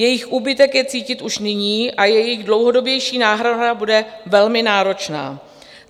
Jejich úbytek je cítit již nyní a jejich dlouhodobější náhrada bude velmi náročná.